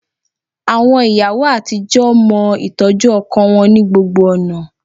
Àwọn ìyàwó àtijọ́ mọ ìtọ́jú ọkọ wọn ní gbogbo ọ̀nà